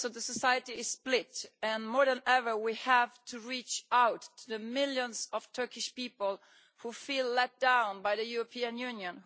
Society is split and, more than ever, we have to reach out to the millions of Turkish people who feel let down and abandoned by the European Union.